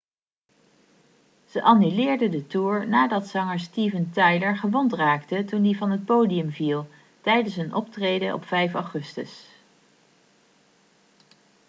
ze annuleerden de toer nadat zanger steven tyler gewond raakte toen hij van het podium viel tijdens een optreden op 5 augustus